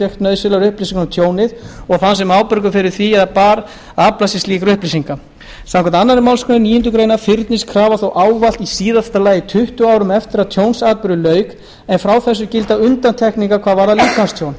fékk nauðsynlegar upplýsingar um tjónið og þann sem ábyrgur er fyrir því eða bar að afla sér slíkra upplýsinga samkvæmt annarri málsgrein níundu grein fyrnist krafa þó ávallt í síðasta lagi tuttugu árum eftir að tjónsatburði lauk en frá þessu gilda undantekningar hvað varðar